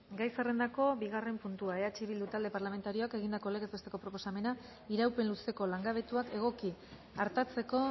gai zerrendako bigarren puntua eh bildu talde parlamentarioak egindako legez besteko proposamena iraupen luzeko langabetuak egoki artatzeko